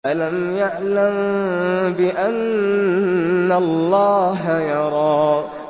أَلَمْ يَعْلَم بِأَنَّ اللَّهَ يَرَىٰ